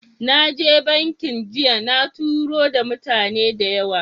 Na je bankin jiya na taro da mutane da yawa